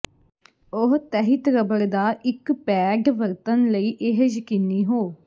ਉਹ ਤਹਿਤ ਰਬੜ ਦਾ ਇੱਕ ਪੈਡ ਵਰਤਣ ਲਈ ਇਹ ਯਕੀਨੀ ਹੋ